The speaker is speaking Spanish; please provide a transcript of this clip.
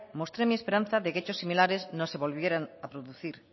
mostré mi esperanza de que hechos similares no se volvieran a producir